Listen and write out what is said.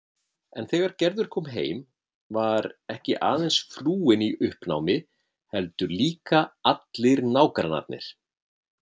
En þegar Gerður kom heim var ekki aðeins frúin í uppnámi heldur líka allir nágrannarnir.